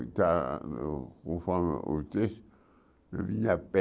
E, está conforme o texto, eu vim a pé.